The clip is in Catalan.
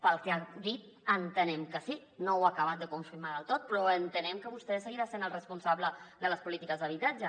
pel que ha dit entenem que sí no ho ha acabat de confirmar del tot però entenem que vostè seguirà sent el responsable de les polítiques d’habitatge